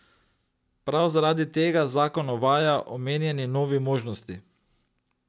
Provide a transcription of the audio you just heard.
Prav zaradi tega zakon uvaja omenjeni novi možnosti.